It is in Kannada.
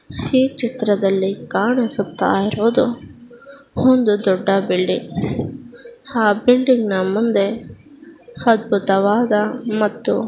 ಈ ಚಿತ್ರದಲ್ಲಿ ಕಾಣಿಸ್ತಾ ಇರುವುದು ಒಂದು ದೊಡ್ಡ ಬಿಲ್ಡಿಂಗ್ ಆ ಬಿಲ್ಡಿಂಗ್ ನ ಮುಂದೆ ಅದ್ಭುತವಾದ ಮತ್ತು--